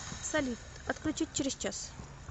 салют отключить через час